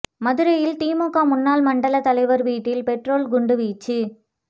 மதுரையில் திமுக முன்னாள் மண்டலத் தலைவர் வீட்டில் பெட்ரோல் குண்டு வீச்சு